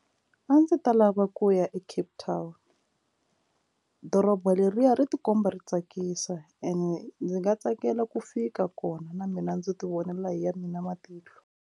A ndzi ta lava ku ya eCape Town doroba leriya ri tikomba ri tsakisa and ndzi nga tsakela ku fika kona na mina ndzi ti vonela hi ya mina matihlo.